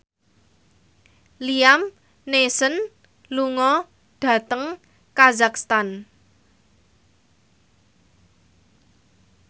Liam Neeson lunga dhateng kazakhstan